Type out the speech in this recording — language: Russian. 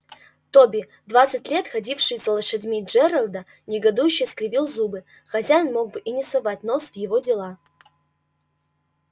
тоби двадцать лет ходивший за лошадьми джералда негодующе скривил губы хозяин мог бы и не совать нос в его дела